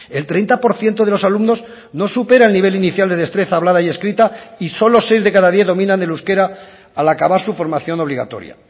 el treinta por ciento de los alumnos no supera el nivel inicial de destreza hablada y escrita y solo seis de cada diez dominan el euskera al acabar su formación obligatoria